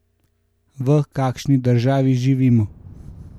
V kakšni državi živimo?